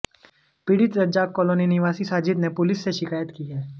पीड़ित रज्जाक कॉलोनी निवासी साजिद ने पुलिस से शिकायत की है